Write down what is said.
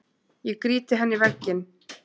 Ég grýti henni í vegginn.